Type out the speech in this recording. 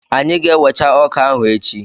Anyị ga-ewecha ọka ahụ echi.